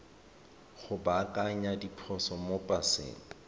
go baakanya diphoso mo paseng